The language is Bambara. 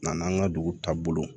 N'an ka dugu taabolo